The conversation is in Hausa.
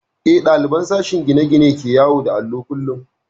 Eh, ɗaliban sashen gine-gine ne ke yawo da allo kullum